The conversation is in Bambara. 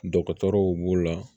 Dɔgɔtɔrɔw b'o la